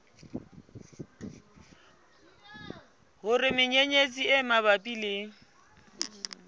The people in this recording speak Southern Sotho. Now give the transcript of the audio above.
hore menyenyetsi e mabapi le